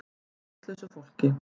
Með vitlausu fólki.